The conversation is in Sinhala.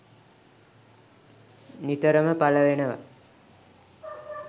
නිතරම පල වෙනවා